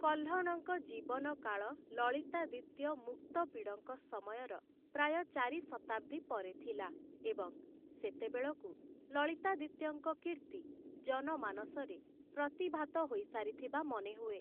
କହ୍ଲଣଙ୍କ ଜୀବନ କାଳ ଲଲିତାଦିତ୍ୟ ମୁକ୍ତପିଡ଼ଙ୍କ ସମୟର ପ୍ରାୟ ଚାରି ଶତାବ୍ଦୀ ପରେ ଥିଲା, ଏବଂ ସେତେବେଳକୁ ଲଳିତାଦିତ୍ୟଙ୍କ କୀର୍ତ୍ତି ଜନମାନସରେ ପ୍ରତିଭାତ ହୋଇସାରିଥିବା ମନେହୁଏ ।